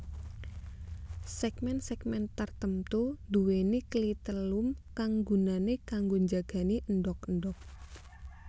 Segmen segmen tartemtu nduwèni klitelum kang gunané kanggo njagani endhog endhog